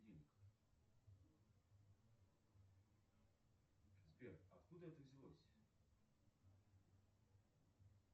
сбер откуда это взялось